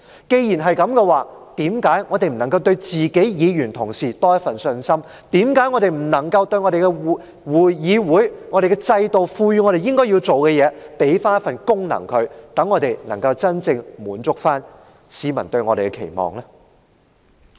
既然如此，為何我們不對議員同事多點信心，為何我們不履行議會、制度賦予我們應有的責任和功能，以滿足市民對我們的期望呢？